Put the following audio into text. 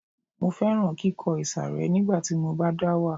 Mo fẹ́ràn kíkọ ìsàré nígbà tí mo bá dá wà